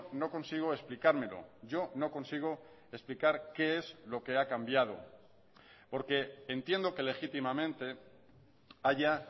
no consigo explicármelo yo no consigo explicar qué es lo que ha cambiado porque entiendo que legítimamente haya